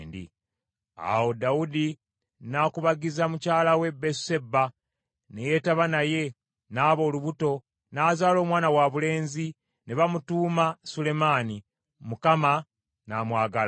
Awo Dawudi n’akubagiza mukyala we Basuseba, ne yeetaba naye, n’aba olubuto, n’azaala omwana wabulenzi, ne bamutuuma Sulemaani, Mukama n’amwagala,